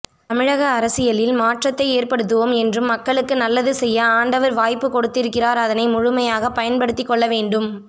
தமிழக அரசியலில் மாற்றத்தைக் ஏற்படுத்துவோம் என்றும் மக்களுக்கு நல்லது செய்ய ஆண்டவர் வாய்ப்பு கொடுத்திருக்கிறார் அதனை முழுமையாக பயன்படுத்திக்கொள்ள வேண்டும்